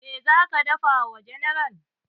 Meh zaka dafa wa general?